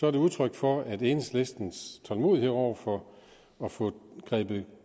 er det udtryk for at enhedslistens tålmodighed over for at få grebet